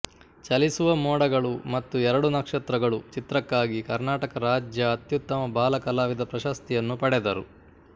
ಚಲಿಸುವ ಮೋಡಗಳು ಮತ್ತು ಎರಡು ನಕ್ಷತ್ರಗಳು ಚಿತ್ರಕ್ಕಾಗಿ ಕರ್ನಾಟಕ ರಾಜ್ಯ ಅತ್ಯುತ್ತಮ ಬಾಲ ಕಲಾವಿದ ಪ್ರಶಸ್ತಿಯನ್ನು ಪಡೆದರು